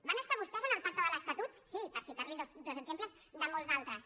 van estar vostès en el pacte de l’estatut sí per citarli dos exemples de molts altres